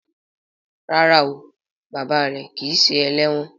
Ràrá o bàbá rẹ kí ṣe eléwòn.